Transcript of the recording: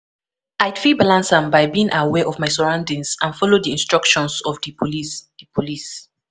I fit balance am by being aware of my surroundings and follow di instructions of di police police